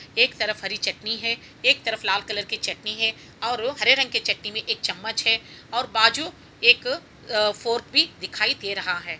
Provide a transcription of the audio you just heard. एक तरफ हरी चटनी है एक तरफ लाल कलर की चटनी है और हरे रंग की चटनी में एक चमच है और बाजू एक फोरक भी दिखाई दे रहा है।